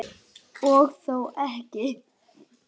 Og þó ekki.